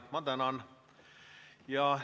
Ma tänan!